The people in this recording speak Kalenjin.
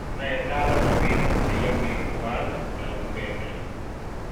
noe Talam robinik che yamei koal tarumbetait